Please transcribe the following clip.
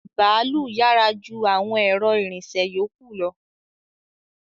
Bàálù yára ju àwọn ẹ̀rọ ìrìnsẹ̀ yókù lọ